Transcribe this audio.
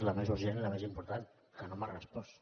la més urgent i la més important que no m’ha respost